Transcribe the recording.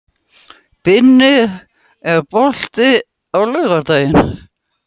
Binni, er bolti á laugardaginn?